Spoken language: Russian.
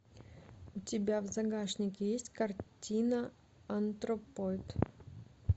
у тебя в загашнике есть картина антропоид